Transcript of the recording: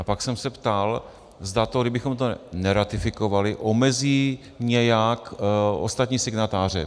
A pak jsem se ptal, zda to, kdybychom to neratifikovali, omezí nějak ostatní signatáře.